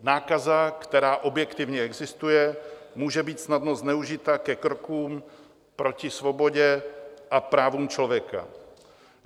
Nákaza, která objektivně existuje, může být snadno zneužita ke krokům proti svobodě a právům člověka.